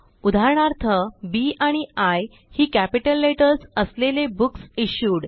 उदाहरणार्थ Bआणि आय ही कॅपिटल लेटर्स असलेले बुकसिश्यूड